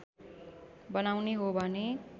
बनाउने हो भने